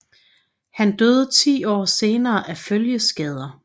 Han døde ti år senere af følgeskader